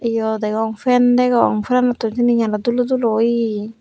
yo degong fan degong fanotun leganot dulo dulo oye.